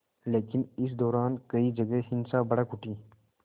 लेकिन इस दौरान कई जगह हिंसा भड़क उठी